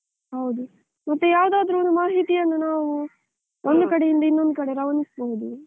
ಹೌದು, ಮತ್ತೆ ಯಾವ್ದಾದ್ರು ಒಂದು ಮಾಹಿತಿಯನ್ನು ನಾವು ಒಂದು ಕಡೆ ಇಂದ ಇನ್ನೊಂದು ಕಡೆ ರವಾನಿಸಬಹುದು.